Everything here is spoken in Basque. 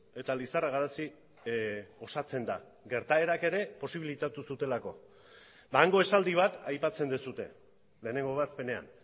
eta lizarra garazi osatzen da gertaerak ere posibilitatu zutelako eta hango esaldi bat aipatzen duzue lehenengo ebazpenean